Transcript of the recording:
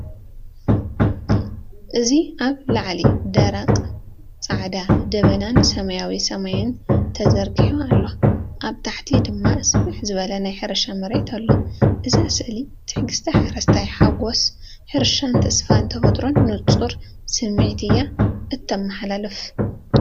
እዚ ኣብ ላዕሊ ደረቕ ጻዕዳ ደበናን ሰማያዊ ሰማይን ተዘርጊሑ ኣሎ፡ ኣብ ታሕቲ ድማ ስፍሕ ዝበለ ናይ ሕርሻ መሬት ኣሎ። እዛ ስእሊ ትዕግስቲ ሓረስታይ፡ ሓጎስ ሕርሻን ተስፋ ተፈጥሮን ንጹር ስምዒት እያ እተመሓላልፍ።